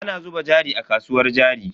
Ana zuba jari a kasuwar jari.